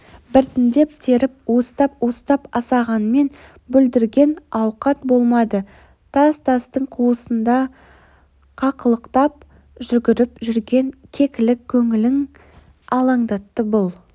біртіндеп теріп уыстап-уыстап асағанмен бүлдірген ауқат болмады тас-тастың қуысында қақылықтап жүгіріп жүрген кекілік көңілін алаңдатты бұл